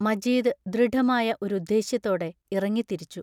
മജീദ് ദൃഢമായ ഒരുദ്ദേശ്യത്തോടെ ഇറങ്ങിത്തിരിച്ചു.